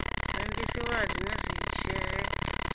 rengisiwa ha dzinwe dzishere dzawo